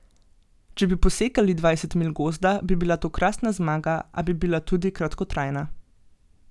Če bi posekali dvajset milj Gozda, bi bila to krasna zmaga, a bi bila tudi kratkotrajna.